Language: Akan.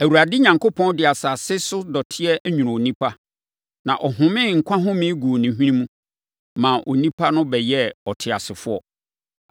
Awurade Onyankopɔn de asase no so dɔteɛ nwonoo onipa, na ɔhomee nkwa home guu ne hwene mu, maa onipa no bɛyɛɛ ɔteasefoɔ.